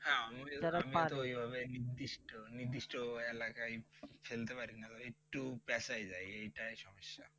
হ্যাঁ আমি তো ওইভাবে নির্দিষ্ট নির্দিষ্ট এলাকায় ফেলতে পারি না ভাই একটু পেঁচায় যায় এটাই সমস্যা